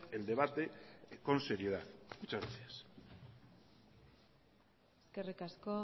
el debate con seriedad muchas gracias eskerrik asko